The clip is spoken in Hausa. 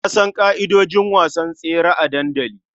Na san ƙa'idojin wasan tsere a dandali.